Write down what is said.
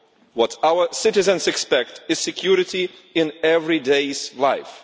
What our citizens expect is security in everyday life.